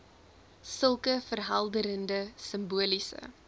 sulke verhelderende simboliese